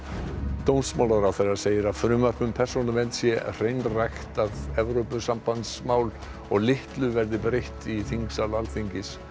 dómsmálaráðherra segir að frumvarp um persónuvernd sé hreinræktað Evrópusambandsmál og litlu verði breytt í þingsal Alþingis